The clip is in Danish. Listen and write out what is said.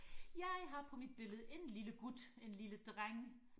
jeg har på mit billede en lille gut en lille dreng